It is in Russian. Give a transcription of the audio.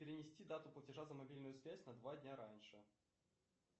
перенести дату платежа за мобильную связь на два дня раньше